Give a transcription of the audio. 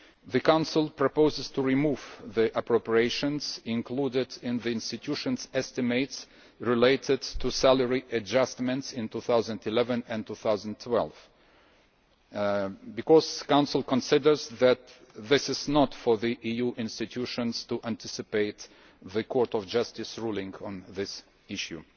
The Council proposes to remove the appropriations included in the institutions' estimates related to salary adjustments in 2011 and 2012 because it considers that it is not for the EU institutions to anticipate the Court of Justice ruling on this issue.